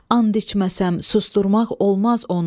And içməsəm, susturmaq olmaz onu.